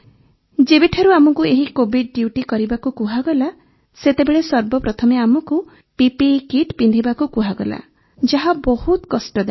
ଯେବେଠାରୁ ଆମକୁ ଏହି କୋଭିଡ୍ ଡ୍ୟୁଟି କରିବାକୁ କୁହାଗଲା ସେତେବେଳେ ସର୍ବପ୍ରଥମେ ଆମକୁ ପିପିଇ କିଟ୍ ପିନ୍ଧିବାକୁ କୁହାଗଲା ଯାହା ବହୁତ କଷ୍ଟଦାୟକ